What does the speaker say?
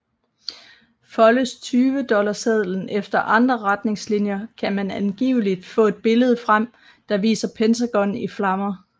Foldes 20 dollarsedlen efter andre retningslinjer kan man angiveligt få et billede frem der viser Pentagon i flammer